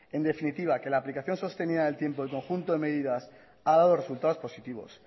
en definitiva que la aplicación sostenía en el tiempo y conjunto de medidas ha dado resultados positivos